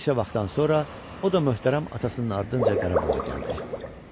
Bir neçə vaxtdan sonra o da möhtərəm atasının ardınca Qarabağa gəldi.